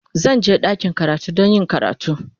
Zan je ɗakin karatu don yin karatu.